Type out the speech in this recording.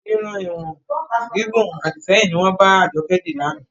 Irun ìhun gígùn Àdìsẹ́yìn ni wọn bá Ajoke di lànà.